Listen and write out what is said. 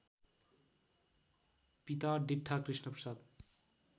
पिता डिट्ठा कृष्णप्रसाद